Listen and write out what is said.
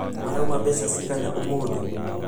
Marauma mbeca cigana ũmũthĩ?